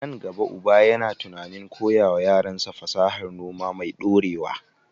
A nan gaba, uba yana tunanin koya wa yaransa fasahar noma mai ɗorewa.